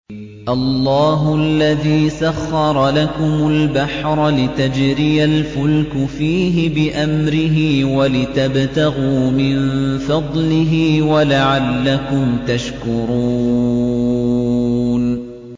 ۞ اللَّهُ الَّذِي سَخَّرَ لَكُمُ الْبَحْرَ لِتَجْرِيَ الْفُلْكُ فِيهِ بِأَمْرِهِ وَلِتَبْتَغُوا مِن فَضْلِهِ وَلَعَلَّكُمْ تَشْكُرُونَ